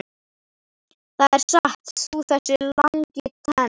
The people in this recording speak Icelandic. Það er satt, þú þessi langintes!